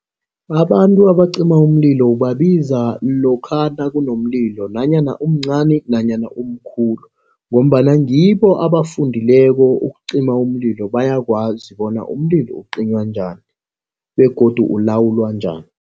Abantu abacima umlilo ubabiza lokha nakunomlilo nanyana umncani nanyana umkhulu ngombana ngibo abafundileko ukucima umlilo. Bayakwazi bona umlilo ucinywa njani begodu ulawulwa njani.